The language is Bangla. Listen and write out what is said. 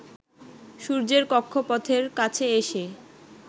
সূর্যের কক্ষপথের কাছে এসে